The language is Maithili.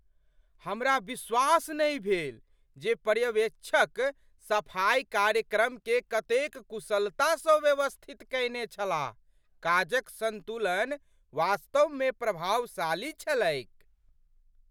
हमरा विश्वास नहि भेल जे पर्यवेक्षक सफाइ कार्यक्रमकेँ कतेक कुशलता सँ व्यवस्थित कयने छलाह! काजक संतुलन वास्तवमे प्रभावशाली छलैक।